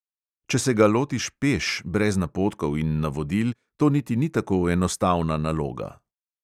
Če se ga lotiš peš, brez napotkov in navodil, to niti ni tako enostavna naloga.